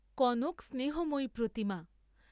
কনক স্নেহময়ী প্রতিমা।